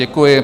Děkuji.